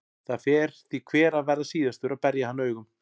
Það fer því hver að verða síðastur að berja hann augum.